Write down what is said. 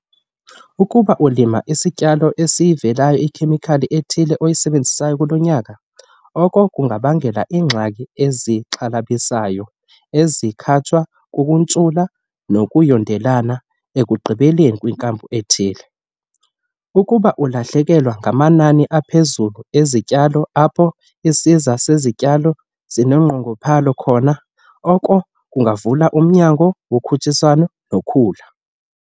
Ukuba ulima isityalo esiyivelayo ikhemikhali ethile oyisebenzise kulo nyaka, oko kungabangela iingxaki ezixhalabisayo ezikhatshwa kukuntshula nokuyondelelana ekugqibeleni kwikampu ethile. Ukuba ulahlekelwa ngamanani aphezulu ezityalo apho isiza sezityalo sinonqongophalo khona, oko kuvula umnyango wokhutshiswano nokhula.